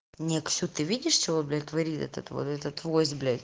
не ксю ты видишь чего он блять творит этот вот вот этот войс блять